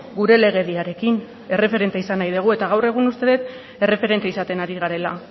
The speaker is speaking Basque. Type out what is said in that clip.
gure legediarekin erreferente izan nahi dugu eta gaur egun uste dut erreferente izaten ari garela